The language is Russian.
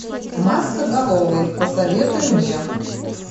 маскоголовый посоветуй мне